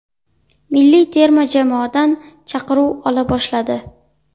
Milliy terma jamoadan chaqiruv ola boshladi.